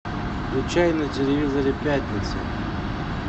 включай на телевизоре пятницу